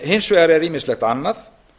hins vegar er ýmislegt annað